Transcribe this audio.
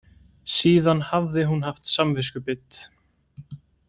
Síðan hafði hún haft samviskubit.